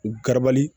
U garabali